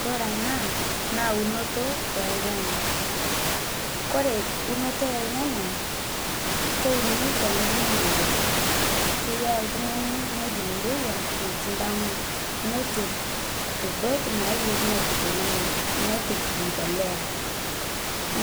kore anaa naa unoto e lnyanyaa kore unotoo ee elnyanya kounii te nghoji neirewa keyaa ltungani nghoji neirewa natii ldama notur udot nayerii nepik lnyanyaa nepik mpolea